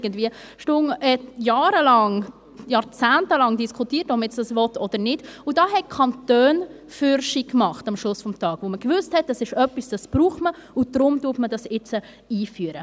Damals diskutierte der Bund jahrelang, jahrzehntelang, ob man dies will oder nicht, und am Ende des Tages machten die Kantone vorwärts, da man wusste, dass dies etwas ist, das man braucht, und darum wollte man es jetzt einführen.